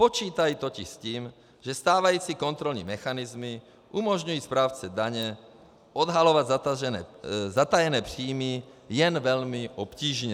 Počítají totiž s tím, že stávající kontrolní mechanismy umožňují správci daně odhalovat zatajené příjmy jen velmi obtížně.